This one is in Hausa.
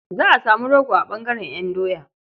Za a samu rogo a ɓangaren ƴan doya.